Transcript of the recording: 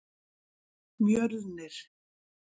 Mjölnir